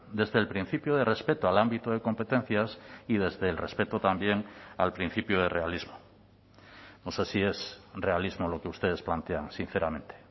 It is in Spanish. desde el principio de respeto al ámbito de competencias y desde el respeto también al principio de realismo no sé si es realismo lo que ustedes plantean sinceramente